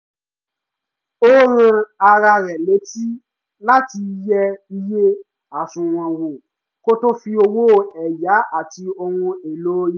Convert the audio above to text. ó rán ara rẹ̀ létí láti yẹ iye àsùnwọ̀n wò kó tó fi owó ẹ̀yá àti ohun èlò ilé